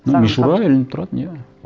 ну мишура ілініп тұратын иә